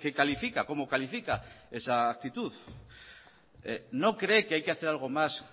que califica como califica esa actitud no cree que hay que hacer algo más